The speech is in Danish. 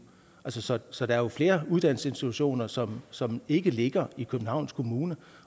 så så der er jo flere uddannelsesinstitutioner som som ikke ligger i københavns kommune